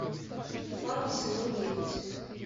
фарго сезон девять